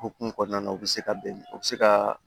O hukumu kɔnɔna na u bɛ se ka bɛn u bɛ se ka